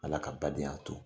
Ala ka badenya to